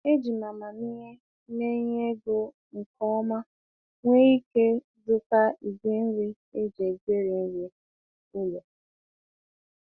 Eji m amamihe mee ihe ego nke ọma wee ike zụta igwe nri e ji egweri nri ụlọ.